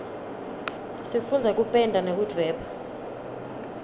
sifundza kupenda nekudvweba